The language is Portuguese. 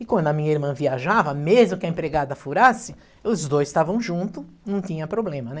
E quando a minha irmã viajava, mesmo que a empregada furasse, os dois estavam juntos, não tinha problema, né?